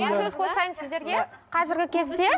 мен сөз қосайын сіздерге қазіргі кезде